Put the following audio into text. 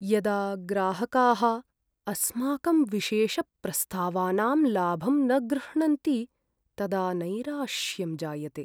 यदा ग्राहकाः अस्माकं विशेषप्रस्तावानां लाभं न गृह्णन्ति तदा नैराश्यं जायते।